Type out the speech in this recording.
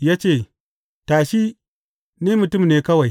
Ya ce, Tashi, ni mutum ne kawai.